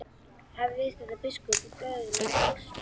Að viðstöddum biskupum og böðlum og kóngsins mönnum.